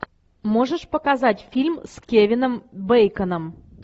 можешь показать фильм с кевином бейконом